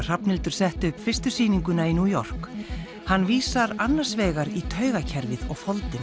Hrafnhildur setti upp fyrstu sýninguna í New York hann vísar annars vegar í taugakerfið og